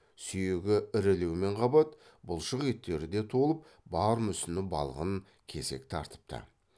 сүйегі ірілеумен қабат бұлшық еттері де толып бар мүсіні балғын кесек тартыпты